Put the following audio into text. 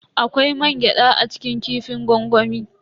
Akwai mangyada a cikin kifin gwangwami.